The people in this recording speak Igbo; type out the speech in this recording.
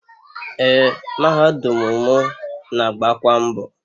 Ee, mahadum mụ na-agbakwa mbọ.